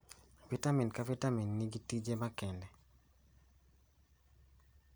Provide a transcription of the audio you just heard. Vitamin ka vitamin nigi tije makende.